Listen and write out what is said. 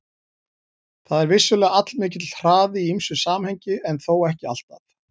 Það er vissulega allmikill hraði í ýmsu samhengi en þó ekki alltaf.